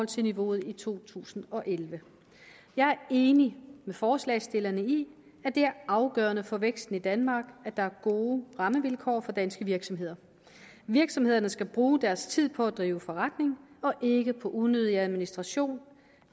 til niveauet i to tusind og elleve jeg er enig med forslagsstillerne i at det er afgørende for væksten i danmark at der er gode rammevilkår for danske virksomheder virksomhederne skal bruge deres tid på at drive forretning og ikke på unødig administration